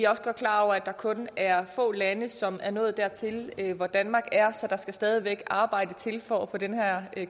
også godt klar over at der kun er få lande som er nået dertil hvor danmark er så der skal stadig væk arbejde til for at få den her